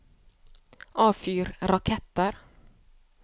avfyr raketter